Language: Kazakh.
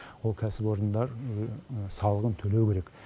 ол кәсіпорындар салығын төлеу керек